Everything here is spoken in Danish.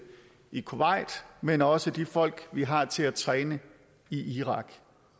i kuwait men også til de folk vi har til at træne i irak